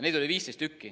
Neid oli 15 tükki.